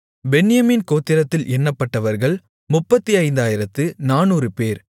பென்யமீன் கோத்திரத்தில் எண்ணப்பட்டவர்கள் 35400 பேர்